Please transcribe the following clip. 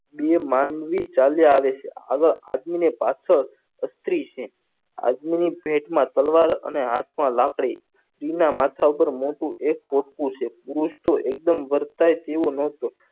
બે માનવીર ચાલ્યા આવે છે આવા આદમી ની પાછળ સ્ત્રી છે આદમી ના પેટમાં તલવાર અને હાથ માં લાકડી સ્ત્રી નાં માથા પર એક પોટકું છે પુરુષ તો એકદમ વરખાઈ